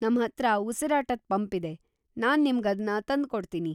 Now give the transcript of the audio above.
ನಮ್ಹತ್ರ ಉಸಿರಾಟದ್ ಪಂಪ್ ಇದೆ; ನಾನ್‌ ನಿಮ್ಗ್‌ ಅದ್ನ ತಂದ್ಕೊಡ್ತೀನಿ.